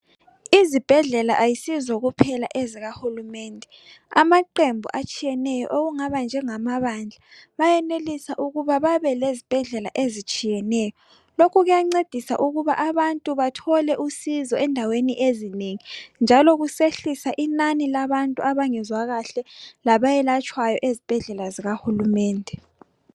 Izibhedlela ayisizo kuphela ezikahulumende amaqembu atshiyeneyo okungaba njenga mabandla bayenelisa ukuba babelezibhedlela ezitshiyeneyo lokhu kuyancedisa ukuba abantu bathole usizo endaweni ezinengi njalo kusehlisa inani labantu abangezwa kahle labayelatshwayo ezibhedlela zokahulumende.